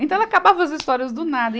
Então ela acabava as histórias do nada. e a